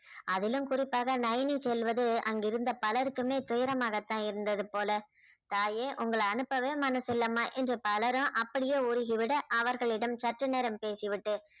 அதிலும் குறிப்பாக நயனி செல்வது அங்கு இருந்த பலருக்குமே துயரமாகத்தான் இருந்தது போல தாயே உங்களை அனுப்பவே மனசில்லைமா என்று பலரும் அப்படியே உருகி விட அவர்களிடம் சற்று நேரம் பேசிவிட்டு